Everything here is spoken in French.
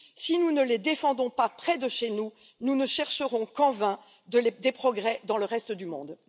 Si nous ne les défendons pas près de chez nous, nous ne chercherons qu'en vain des progrès dans le reste du monde.